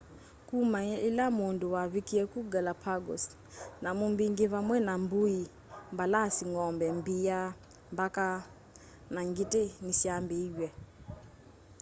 kuma ila mundu wavikie kuu galapagos nyamu mbingi vamwe na mbui mbalasi ng'ombe mbia mbaka na ngiti nisyambiiw'e